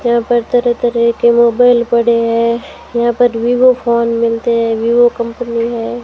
यहां पर तरह के मोबाइल पड़े हैं यहां पर वीवो फोन मिलते हैं विवो कंपनी है।